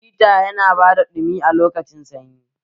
Hita yana ba da ɗumi a lokacin sanyi